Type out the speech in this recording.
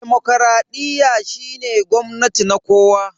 demokradiyyar shine gwamnati na kowa.